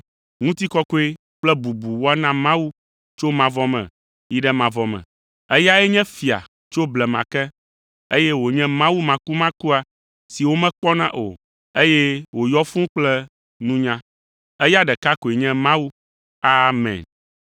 Ŋutikɔkɔe kple bubu woana Mawu tso mavɔ me yi ɖe mavɔ me. Eyae nye Fia tso blema ke, eye wònye Mawu makumakua si womekpɔna o, eye wòyɔ fũu kple nunya. Eya ɖeka koe nye Mawu. Amen.